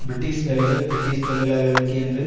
British வேலைகள் British தொழிலாளர்களுக்கே என்று